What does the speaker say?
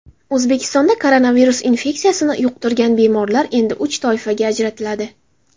O‘zbekistonda koronavirus infeksiyasini yuqtirgan bemorlar endi uch toifaga ajratiladi.